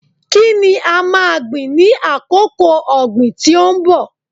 Kí ni a máa gbìn ní àkókò ọ̀gìn tí ó ń bọ̀?